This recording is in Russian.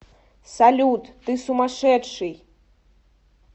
салют ты сумасшедший